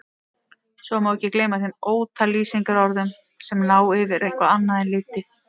Svo má ekki gleyma þeim ótal lýsingarorðum sem ná yfir eitthvað annað en liti.